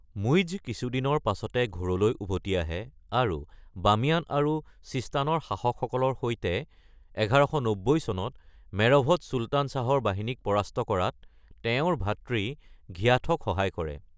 মুইজ্জ কিছুদিনৰ পাছতে ঘোৰলৈ উভতি আহে আৰু বামিয়ান আৰু ছিস্তানৰ শাসকসকলৰ সৈতে ১১৯০ চনত মেৰভত চুলতান শ্বাহৰ বাহিনীক পৰাস্ত কৰাত তেওঁৰ ভাতৃ ঘিয়াথক সহায় কৰে।